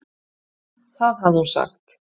Það hafði hún sagt.